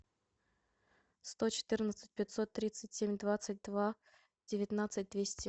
сто четырнадцать пятьсот тридцать семь двадцать два девятнадцать двести